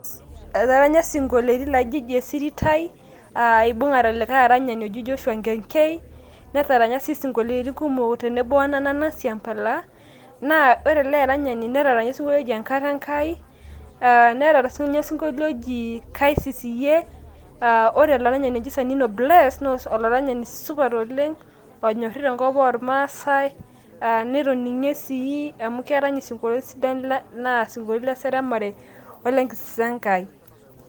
etaranya sinkoliotin laji ji esirit ai a ibungare likae aranyani oji Joshua Nkekei netaranya sii sinkoliotin kumok tenebo o Nanana Siampala . na ore ele aranyani netaranya osinkolio oji Enkata Enkai aa nerany sininye osinkolio oji Kaisis Iyie aa ore olaranyani oji Sanino Bless ,olaranyani supat oleng, onyorri tenkop oormaasae , a netoninge si amu kerany isinkoliotin sidan amu isinkoliotin le seremare ole nkisisa e Nkai.